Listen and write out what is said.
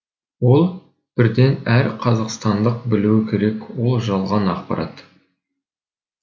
ол бірден әр қазақстандық білуі керек ол жалған ақпарат